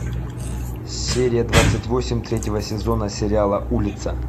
серия двадцать восемь третьего сезона сериала улица